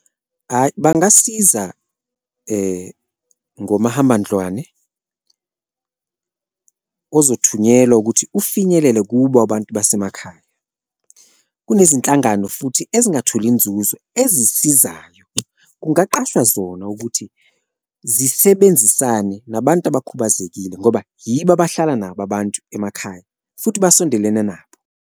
Hhayi, bangasiza ngomahambandlwane ozothunyelwa ukuthi ufinyelele kubo abantu basemakhaya kunezinhlangano futhi ezingatholi inzuzo ezisizayo, kungaqashwa zona ukuthi zisebenzisane nabantu abakhubazekile ngoba yibo abahlala nabo abantu emakhaya futhi abasondelene nabo.